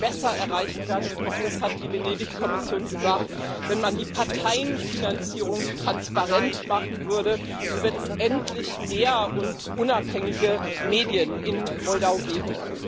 Das würde besser erreicht werden und auch das hat die Venedig Kommission gesagt wenn man die Parteienfinanzierung transparent machen würde und wenn es endlich mehr und unabhängige Medien in Moldau gäbe.